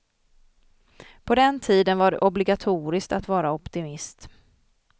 På den tiden var det obligatoriskt att vara optimist.